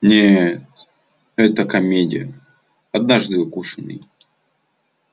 нет это комедия однажды укушенный